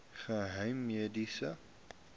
geheimediens